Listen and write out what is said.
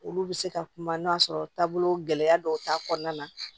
Olu bɛ se ka kuma n'a sɔrɔ taabolo gɛlɛya dɔw t'a kɔnɔna na